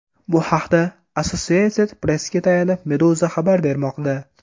Bu haqda Associated Press’ga tayanib, Meduza xabar bermoqda .